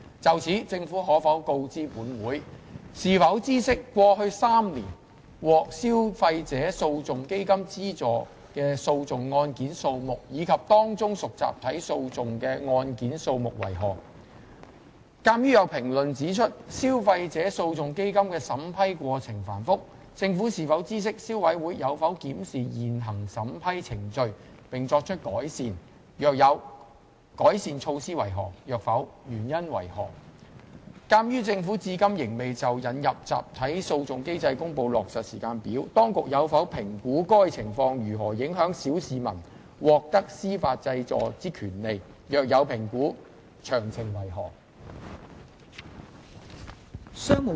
就此，政府可否告知本會：一是否知悉，過去3年獲消費者訴訟基金資助的訴訟案件數目，以及當中屬集體訴訟的案件數目為何；二鑒於有評論指出，消費者訴訟基金的審批過程繁複，政府是否知悉消委會有否檢視現行審批程序，並作出改善；若有，改善措施為何；若否，原因為何；及三鑒於政府至今仍未就引入集體訴訟機制公布落實時間表，當局有否評估該情況如何影響小市民獲得司法濟助的權利；若有評估，詳情為何？